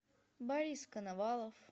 борис коновалов